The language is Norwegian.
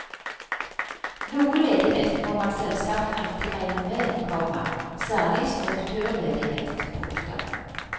Noe ledighet må man selvsagt alltid regne med, komma særlig strukturledighet. punktum